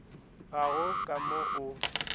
ga go ka mo o